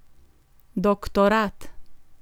Doktorat!